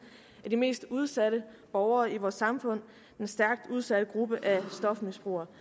af de mest udsatte borgere i vores samfund den stærkt udsatte gruppe af stofmisbrugere